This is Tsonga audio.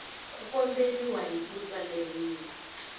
ku komberiwa hi ku tsaleriwa